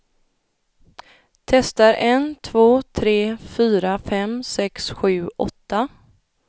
Testar en två tre fyra fem sex sju åtta.